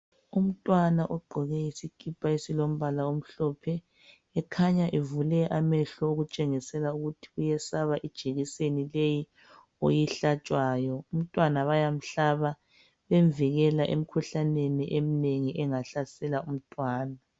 Umntwana ugqoke isikipa esilombala omhlophe ekhanya evule amehlo okutshengisela ukuthi uyesaba ijekiseni leyi oyihlatshwayo umntwana bayamhlaba bemvikela emkhuhlaneni eminengi engahlasela umntwana.